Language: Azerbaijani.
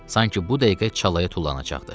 Sanki bu dəqiqə çalaya tullanacaqdı.